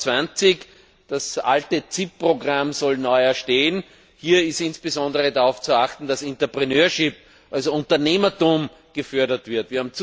2020. Das alte CIP Programm soll neu aufgelegt werden. Hier ist insbesondere darauf zu achten, dass Entrepreneurship, also Unternehmertum, gefördert wird.